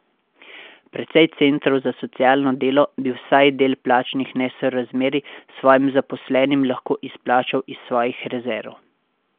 Precej centrov za socialno delo bi vsaj del plačnih nesorazmerij svojim zaposlenim lahko izplačal iz svojih rezerv.